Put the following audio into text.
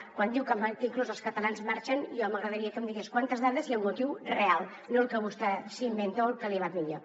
quan diu que inclús els catalans marxen jo m’agradaria que em digués quantes dades i el motiu real no el que vostè s’inventa o el que li va millor